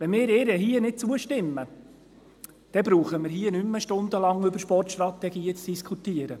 Wenn wir ihr hier nicht zustimmen, dann brauchen wir nicht mehr stundenlang über Sportstrategien zu diskutieren.